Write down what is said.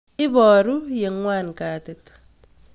Iparu ye ng'wan katit